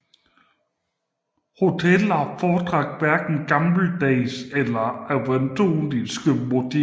Hoteller foretrak hverken gammeldags eller avantgardistiske motiver